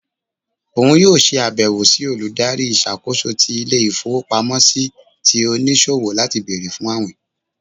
òun yóò ṣe àbẹwò sí Olùdarí ìṣàkóso ti ìlé-ifowopámọsí tí oniṣowo lati béèrè fún awín.